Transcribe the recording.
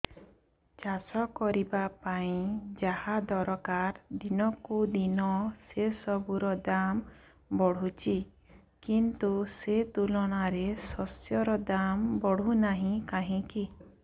ଚାଷ କରିବା ପାଇଁ ଯାହା ଦରକାର ଦିନକୁ ଦିନ ସେସବୁ ର ଦାମ୍ ବଢୁଛି କିନ୍ତୁ ସେ ତୁଳନାରେ ଶସ୍ୟର ଦାମ୍ ବଢୁନାହିଁ କାହିଁକି